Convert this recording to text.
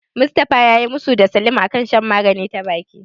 Mustafa yayi musu da Salim a kan shan magani ta baki.